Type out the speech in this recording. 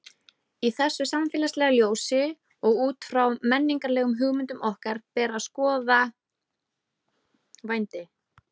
Í þessu samfélagslega ljósi og út frá menningarlegum hugmyndum okkar ber að skoða vændi.